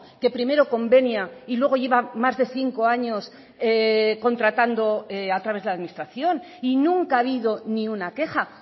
que primero convenia y luego lleva más de cinco años contratando a través de la administración y nunca ha habido ni una queja